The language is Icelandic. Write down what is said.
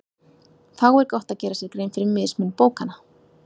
Þá er gott að gera sér grein fyrir mismun bókanna.